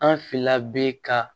An finna bi ka